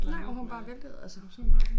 Nej og hun bare væltede og så hun sådan